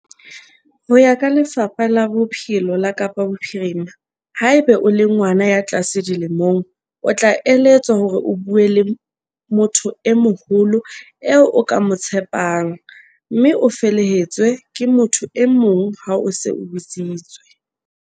Ho ya ka Lefapha la Bophelo la Kapa Bophirima, haeba o le ngwana ya tlase dilemong, o tla eletswa hore o bue le motho e moholo eo o ka mo tshepang, mme o felehetswe ke motho e mong ha o se o bitsitswe.